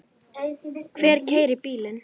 Hver keyrir bílinn?